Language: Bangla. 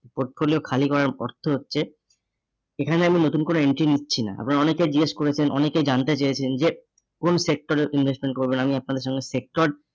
portfolio খালি করার অর্থ হচ্ছে এখানে আমি নতুন করে entry নিচ্ছি না। আবার অনেকেই জিজ্ঞেস করেছেন, অনেকে জানতে চেয়েছেন যে কোন sector এ investment করবেন আমি আপনাদের জন্য sector